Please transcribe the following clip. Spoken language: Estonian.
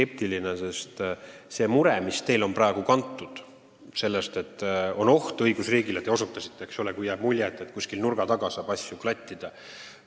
Teie mure on ju praegu kantud sellest, et on tekkinud oht õigusriigile: jääb mulje, et kuskil nurga taga saab asju klattida.